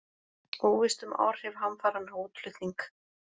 Óvíst um áhrif hamfaranna á útflutning